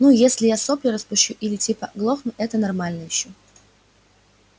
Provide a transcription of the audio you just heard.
ну если я сопли распущу или типа глохну это нормально ещё